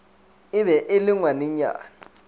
e be e le ngwanenyana